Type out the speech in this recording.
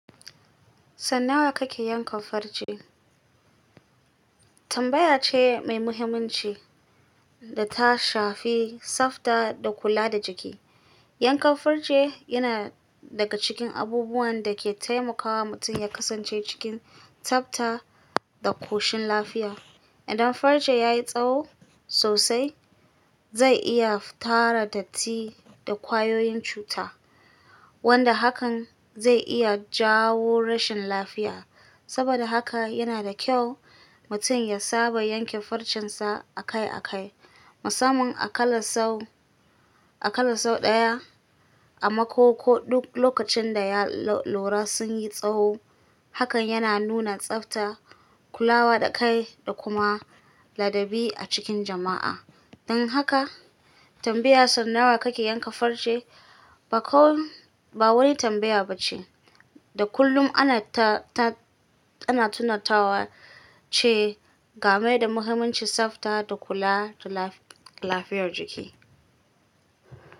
Sau nawa kake yankan farce. Tambaya ce mai muhimmanci da ta shafi tsafta da kula da jiki. Yankan farce yana daga cikin abubuwan da ke taimakawa mutum ya kasance cikin tsabta da ƙoshin lafiya. Idan farce ya yi tsawo sosai, zai iya tara datti da ƙwayoyin cuta, wanda hakan zai iya jawo rashin lafiya. Saboda haka yana da kyau mutum ya saba yanke farcensa akai-akai, musamman a kalla sau, a ƙalla sau ɗaya a mako ko duk lokacin da ya lora sun yi tsawo. Hakan yana nuna tsafta, kulawa da kai da kuma ladabi a cikin jama'a. Don haka tambayar sau nawa kake yanka farce bakon, ba wani tambaya ba ce da kullum ana ta, ta, ana tunatawa ce game da muhimmancin tsafta da kula da lafiyar jiki.